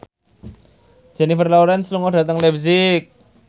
Jennifer Lawrence lunga dhateng leipzig